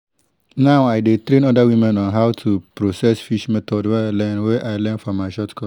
now i dey train other women on how to process fish method wey i learn wey i learn from my short course